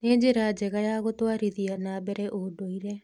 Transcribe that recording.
nĩ njĩra njega ya gũtwarithia na mbere ũndũire